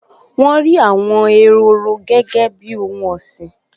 Wọ́n rí àwọn ehoro gẹ́gẹ́ bíi ohun ọ̀sìn